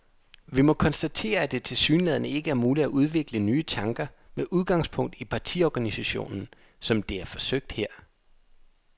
Vi må konstatere, at det tilsyneladende ikke er muligt at udvikle nye tanker med udgangspunkt i partiorganisationen, som det er forsøgt her.